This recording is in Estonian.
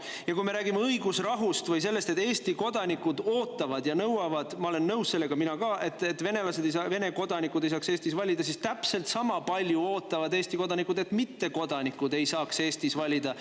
Ja kui me räägime õigusrahust või sellest, et Eesti kodanikud ootavad ja nõuavad – ma olen nõus sellega, mina ka –, et venelased, Vene kodanikud ei saaks Eestis valida, siis täpselt sama palju ootavad Eesti kodanikud, et mittekodanikud ei saaks Eestis valida.